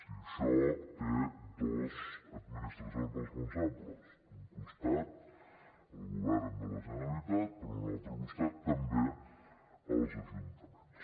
i això té dos administracions responsables d’un costat el govern de la generalitat per un altre costat també els ajuntaments